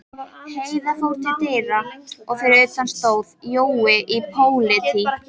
Heiða fór til dyra og fyrir utan stóð Jói pólití.